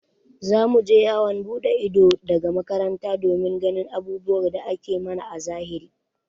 Za mu je yawon buɗe ido daga makaranta domin ganin abubuwan da ake mana a zahiri.